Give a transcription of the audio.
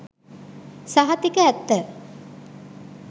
සහතික ඇත්ත